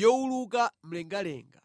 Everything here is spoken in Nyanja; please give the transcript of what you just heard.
yowuluka mlengalenga.